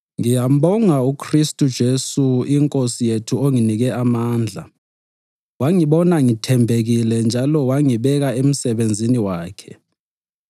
Ngiyambonga uKhristu uJesu iNkosi yethu onginike amandla, wangibona ngithembekile njalo wangibeka emsebenzini wakhe.